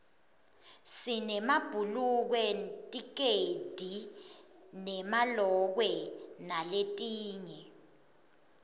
sinemabhulukwe tikedi nemalokwe naletinye